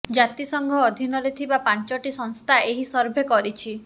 ଜାତିସଂଘ ଅଧୀନରେ ଥିବା ପାଞ୍ଚଟି ସଂସ୍ଥା ଏହି ସର୍ଭେ କରିଛି